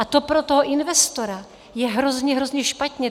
A to pro toho investora je hrozně, hrozně špatně.